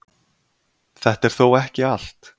Þetta er þó ekki allt